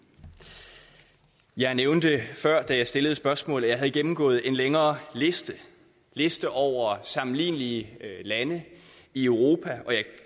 jeg nævnte før da jeg stillede spørgsmål at jeg havde gennemgået en længere liste liste over sammenlignelige lande i europa og jeg